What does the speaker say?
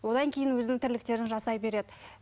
одан кейін өзінің тірліктерін жасай береді